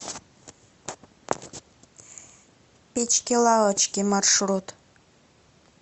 печки лавочки маршрут